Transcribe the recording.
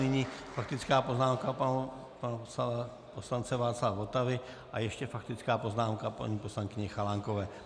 Nyní faktická poznámka pana poslance Václava Votavy a ještě faktická poznámka paní poslankyně Chalánkové.